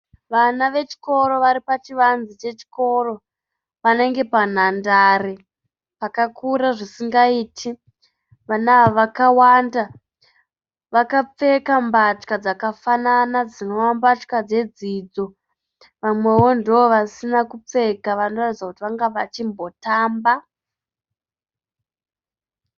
Vana vechikoro vari pachivanze chechikoro panenge panhandare, pakakura zvisingaiti. Vana ava vakawanda. Vakapfeka mbatya dzakafanana dzinova mbatya dzedzidzo. Vamwewo ndovasina kupfeka vanoradzidza kuti vange vachimbotamba.